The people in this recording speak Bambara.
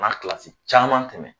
Na kilasi caman tɛmɛ